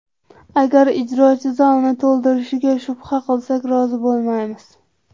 Agar ijrochi zalni to‘ldirishiga shubha qilsak, rozi bo‘lmaymiz.